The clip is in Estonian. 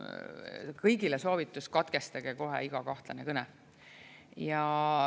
Kõigile soovitus: katkestage kohe iga kahtlane kõne.